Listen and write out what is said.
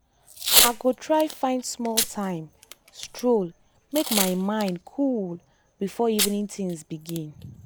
i go try find small time stroll make my mind mind cool before evening things begin.